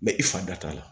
Mɛ i fa da t'a la